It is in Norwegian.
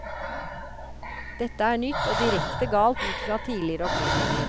Dette er nytt og direkte galt ut fra tidligere opplysninger.